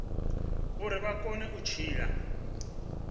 uri vha kone u tshila